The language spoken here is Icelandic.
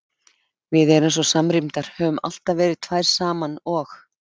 Við erum svo samrýmdar, höfum alltaf verið tvær saman og.